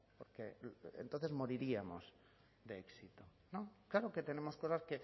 porque entonces moriríamos de éxito claro que tenemos cosas